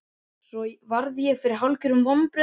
Svo varð ég fyrir hálfgerðum vonbrigðum.